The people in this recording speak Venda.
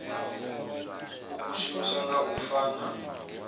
ikukumusa nga u sa fana